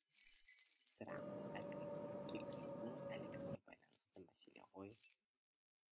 сірә әлгі киргиздің әлегіне байланысты мәселе ғой